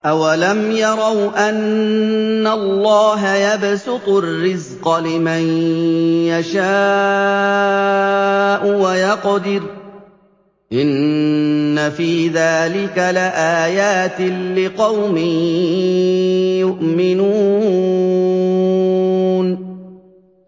أَوَلَمْ يَرَوْا أَنَّ اللَّهَ يَبْسُطُ الرِّزْقَ لِمَن يَشَاءُ وَيَقْدِرُ ۚ إِنَّ فِي ذَٰلِكَ لَآيَاتٍ لِّقَوْمٍ يُؤْمِنُونَ